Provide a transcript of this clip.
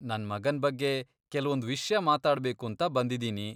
ನನ್ ಮಗನ್ ಬಗ್ಗೆ ಕೆಲ್ವೊಂದ್ ವಿಷ್ಯ ಮಾತಾಡ್ಬೇಕೂಂತ ಬಂದಿದೀನಿ.